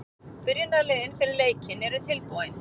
Byrjunarliðin fyrir leikinn eru tilbúin.